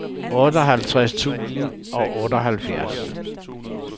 otteoghalvtreds tusind og otteoghalvfjerds